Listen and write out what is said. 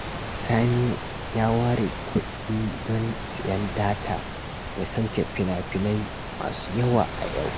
Sani ya ware kuɗi don sayen data ya sauke fina-finai masu yawa a yau